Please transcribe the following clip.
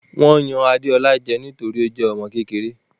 Wọ́n yan Adeola jẹ nítorí tí ó jẹ́ ọmọ kékeré.